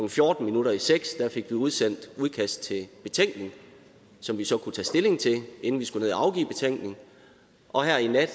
fjorten minutter i seks fik vi udsendt et udkast til betænkning som vi så kunne tage stilling til inden vi skulle ned at afgive betænkning og her i nat